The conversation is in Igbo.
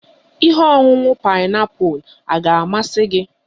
Ihe ọṅuṅu paịnapụl a ga-amasị gị?